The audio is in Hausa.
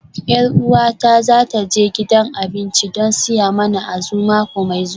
Yar uwata za ta je gidan abinci don siya mana Azu mako mai zuwa